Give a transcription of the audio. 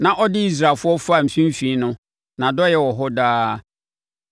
na ɔde Israelfoɔ faa mfimfini no. Nʼadɔeɛ wɔ hɔ daa.